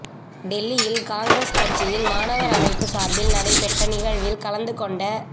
டெல்லியில் காங்கிரஸ் கட்சியின் மாணவர் அமைப்பு சார்பில் நடைபெற்ற நிகழ்வில் கலந்து கொண்ட